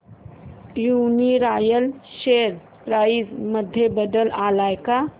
Uniroyal share price मध्ये बदल आलाय का